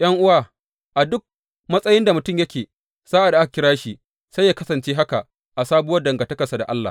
’Yan’uwa, a duk matsayin da mutum yake sa’ad da aka kira shi, sai yă kasance haka a sabuwar dangantakarsa da Allah.